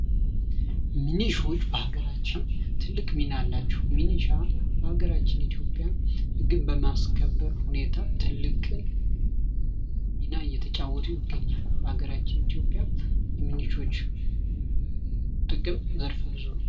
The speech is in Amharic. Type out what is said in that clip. ሚኒሻዎች በሃገራችን ትልቅ ሚና አላቸው። ሚኒሻ በሃገራችን ኢትዮጵያ ህግን በማስከበር ሁኔታ ትልቅ ሚና እየተጫወቱ ይገኛሉ። በሃገራችን ኢትዮጵያ የሚኒሻዎች ጥቅም ዘርፈ ብዙ ነው።